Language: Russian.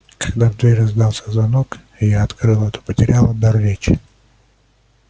когда в дверь раздался звонок и я открыла то потеряла дар речи